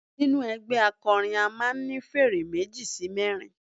Nínú ẹgbẹ́ akọrin a máà ń ní fèrè meji sí mẹrin.